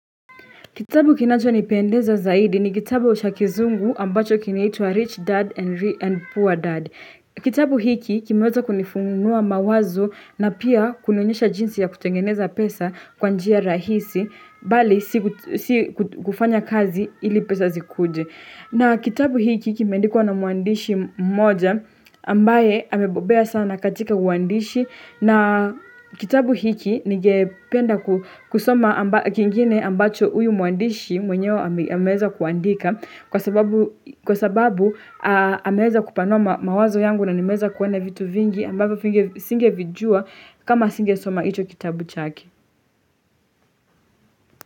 Kitabu kinacho nipendeza zaidi ni kitabu cha kizungu ambacho kinaitwa Rich Dad and Poor Dad. Kitabu hiki kimeweza kunifunua mawazo na pia kunionyesha jinsi ya kutengeneza pesa kwanjia rahisi bali si kufanya kazi ili pesa zikuje. Na kitabu hiki kimendikuwa na mwandishi mmoja ambaye amebobea sana katika uandishi na kitabu hiki nigependa kusoma kingine ambacho uyu mwandishi mwenyewe ameweza kuandika kwa sababu ameweza kupanua mawazo yangu na nimeza kuona vitu vingi ambayo singe vijua kama singe soma hicho kitabu chake.